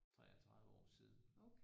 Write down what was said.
33 år siden